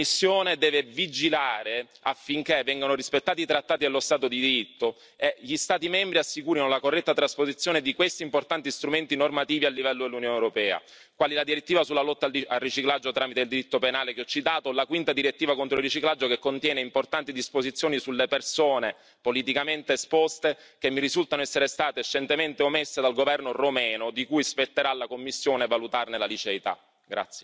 La Commissione deve vigilare affinché vengano rispettati i trattati dello Stato di diritto e gli Stati membri assicurino la corretta trasposizione di questi importanti strumenti normativi a livello dell'Unione europea, quali la direttiva sulla lotta al riciclaggio tramite il diritto penale, che ho citato, la quinta direttiva contro il riciclaggio che contiene importanti disposizioni sulle persone politicamente esposte, che mi risultano essere state scientemente omesse dal governo romeno, di cui spetterà alla Commissione valutarne la liceità.